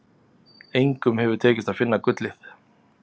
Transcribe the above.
Engum hefur tekist að finna gullið.